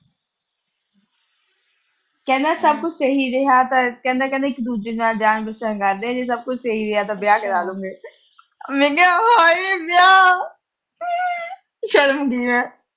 ਕਹਿੰਦਾ ਸਭ ਕੁਛ ਸਹੀ ਰਿਹਾ ਤਾਂ ਕਹਿੰਦਾ ਇੱਕ ਦੂਜੇ ਨਾਲ ਰਹਿਣ ਬਸਣ ਕਰਦੇ ਆ, ਜੇ ਸਹੀ ਰਿਹਾ ਤਾਂ ਇਕ ਦੂਜੇ ਨਾਲ ਵਿਆਹ ਕਰਾ ਲੂਗੇ। ਮੈਂ ਕਿਹਾ, ਹਾਏ ਵਿਆਹ। ਸ਼ਰਮ ਆਉਂਦੀ ਆ।